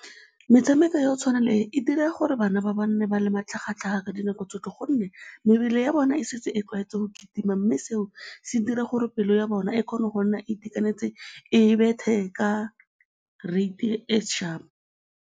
Metshameko ya go tshwana le e dira gore bana ba ba nne ba le matlhagatlhaga ka dinako tsotlhe gonne mebele ya bona e setse e tlwaetseng go kitima mme seo se dira gore pelo ya bona e kgone go nna e itekanetse, e bethe ka rate-i e sharp.